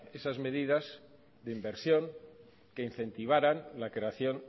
esas medidas de inversión que incentivaran la creación